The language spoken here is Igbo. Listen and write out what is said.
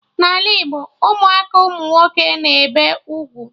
N'ala Igbo Ụmụaka umunwoke na-ebe ugwu